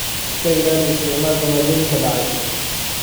Iska ilaali isticmaalka maaddooyinka dhacay.